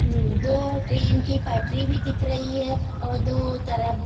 हूं दो ट्रेन की पटरी भी दिख रही है और दो तरफ--